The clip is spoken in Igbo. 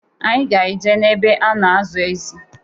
Anyị ga-eje na-ebe a na-azụ ezị.